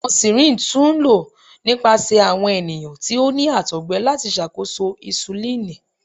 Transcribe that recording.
Awọn syringes tun lo nipasẹ awọn eniyan ti o ni àtọgbẹ lati ṣakoso insulini.